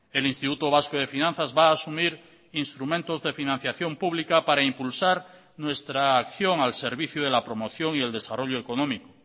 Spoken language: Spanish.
el instituto vasco de finanzas va a asumir instrumentos de financiación pública para impulsar nuestra acción al servicio de la promoción y el desarrollo económico